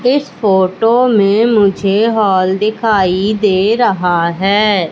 इस फोटो में मुझे हाॅल दिखाइ दे रहा है।